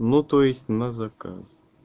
ну то есть на заказ